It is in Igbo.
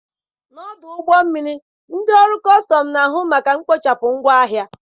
N'ọdụ ụgbọ mmiri ndị ọrụ kọstọm na-ahụ maka mkpochapụ ngwa ahịa.